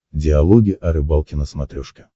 диалоги о рыбалке на смотрешке